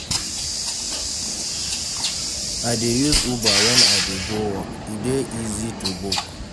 I dey use Uber wen I dey go work, e dey easy to book.